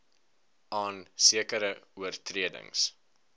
aan sekere oortredings